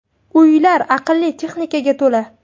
Uylar aqlli texnikaga to‘la.